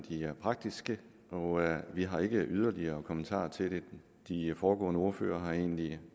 praktiske og vi har ikke yderligere kommentarer til det de foregående ordførere har egentlig